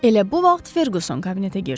Elə bu vaxt Ferquson kabinetə girdi.